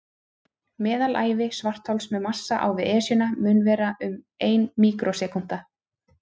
Meðalævi svarthols með massa á við Esjuna mun vera um ein míkrósekúnda.